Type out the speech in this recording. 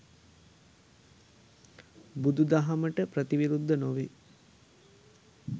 බුදුදහමට ප්‍රතිවිරුද්ධ නොවේ.